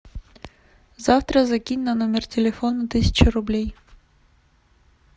завтра закинь на номер телефона тысячу рублей